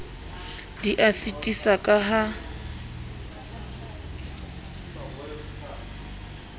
di a sitisa ka ha